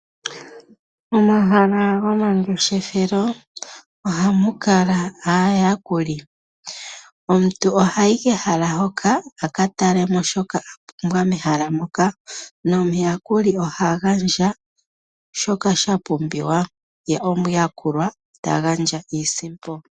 Omahala gomangeshefelo ohamu kala aayakuli. Omuntu ohayi kehala hoka a ka talemo shoka a pumbwa mehala moka nomuyakuli ohagandja shoka shapumbiwa ye omuyakulwa ta gandja iisimpo.